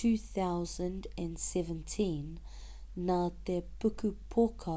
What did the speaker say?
2007 nā te pukupoka